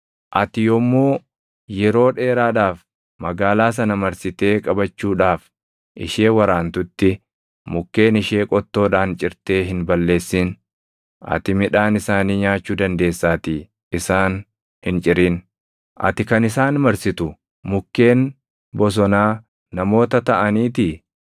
Ati yommuu yeroo dheeraadhaaf magaalaa sana marsitee qabachuudhaaf ishee waraantutti, mukkeen ishee qottoodhaan cirtee hin balleessin; ati midhaan isaanii nyaachuu dandeessaatii isaan hin cirin. Ati kan isaan marsitu mukkeen bosonaa namoota taʼaniitii?